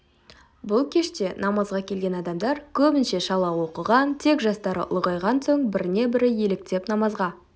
бұл кеште намазға келген адамдар көбінше шала оқыған тек жастары ұлғайған соң біріне бірі еліктеп намазға